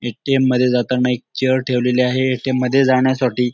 ATM मध्ये जाताना एक चेअर ठेवलेली आहे. ए.टी.एम मध्ये जाण्यासाठी--